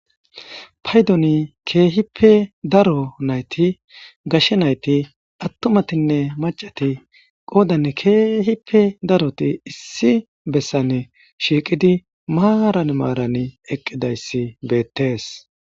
Paydoni keehippe daro nayti gashshe nayti attumatinne macati qoodan keehipe daroti issi bessane shiiqidi maaran maaran eqqidayssi beettees.